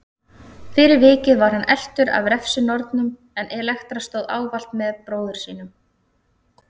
Fyrir vikið var hann eltur af refsinornunum en Elektra stóð ávallt með bróður sínum.